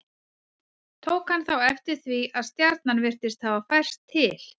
Tók hann þá eftir því að stjarnan virtist hafa færst til.